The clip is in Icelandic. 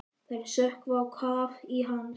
Þær sökkva á kaf í hans.